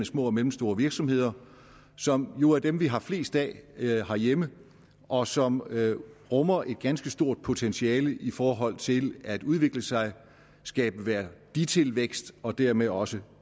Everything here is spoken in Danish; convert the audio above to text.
små og mellemstore virksomheder som jo er dem vi har flest af herhjemme og som rummer et ganske stort potentiale i forhold til at udvikle sig og skabe værditilvækst og dermed også